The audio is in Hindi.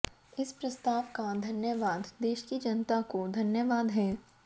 इस प्रस्ताव का धन्यवाद देश की जनता को धन्यवाद है